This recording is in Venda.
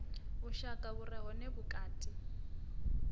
vhushaka vhu re hone vhukati